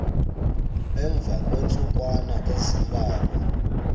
emva kweentsukwana ezimbalwa